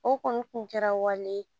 O kɔni kun kɛra wale